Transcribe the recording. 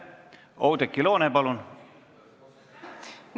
Oudekki Loone, palun!